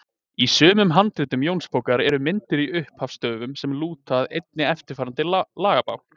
Í sumum handritum Jónsbókar eru myndir í upphafs stöfum sem lúta að efni eftirfarandi lagabálks.